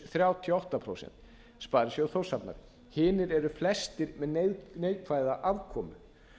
þrjátíu og átta prósent sparisjóður þórshafnar hinir eru flestir með neikvæða afkomu